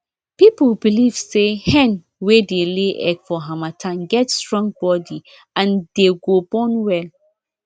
people belive say hen wey dey lay egg for harmattan get strong body and dey go born well